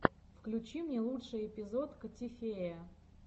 включи мне лучший эпизод котифея